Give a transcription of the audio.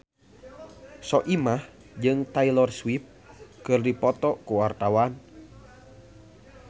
Soimah jeung Taylor Swift keur dipoto ku wartawan